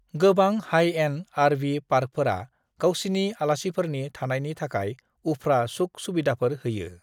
गोबां high end RV. पार्कफोरा गावसिनि आलासिफोरनि थानायनि थाखाय उफ्रा सुख-सुबिदाफोर होयो।